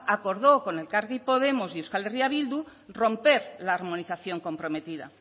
acordó con elkarrekin podemos y euskal herria bildu romper la armonización comprometida